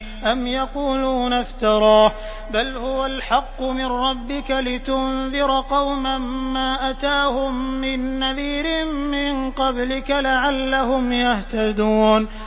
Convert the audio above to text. أَمْ يَقُولُونَ افْتَرَاهُ ۚ بَلْ هُوَ الْحَقُّ مِن رَّبِّكَ لِتُنذِرَ قَوْمًا مَّا أَتَاهُم مِّن نَّذِيرٍ مِّن قَبْلِكَ لَعَلَّهُمْ يَهْتَدُونَ